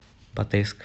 батайск